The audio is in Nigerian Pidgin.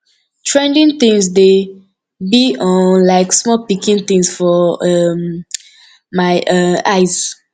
trending things dey be um like small pikin things for um my um eyes